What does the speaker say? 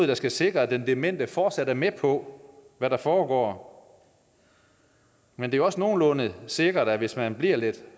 der skal sikre at den demente fortsat er med på hvad der foregår men det er også nogenlunde sikkert at hvis man bliver lidt